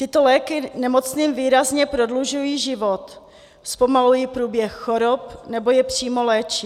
Tyto léky nemocným výrazně prodlužují život, zpomalují průběh chorob nebo je přímo léčí.